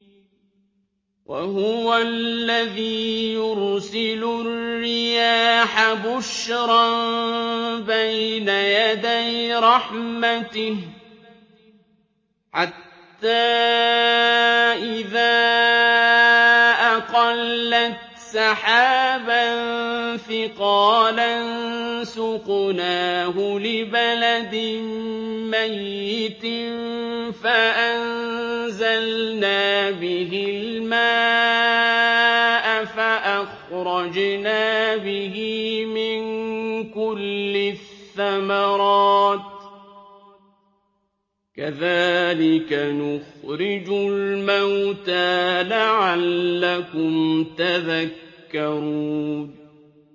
وَهُوَ الَّذِي يُرْسِلُ الرِّيَاحَ بُشْرًا بَيْنَ يَدَيْ رَحْمَتِهِ ۖ حَتَّىٰ إِذَا أَقَلَّتْ سَحَابًا ثِقَالًا سُقْنَاهُ لِبَلَدٍ مَّيِّتٍ فَأَنزَلْنَا بِهِ الْمَاءَ فَأَخْرَجْنَا بِهِ مِن كُلِّ الثَّمَرَاتِ ۚ كَذَٰلِكَ نُخْرِجُ الْمَوْتَىٰ لَعَلَّكُمْ تَذَكَّرُونَ